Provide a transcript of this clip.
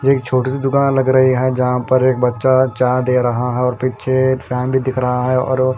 एक छोटी सी दुकान लग रही है। जहां पर एक बच्चा चाय दे रहा है और पीछे फैन भी दिख रहा है और--